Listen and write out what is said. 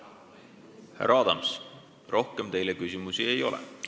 Härra Adams, rohkem teile küsimusi ei ole.